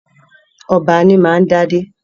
Ọba ní ma ń dé adé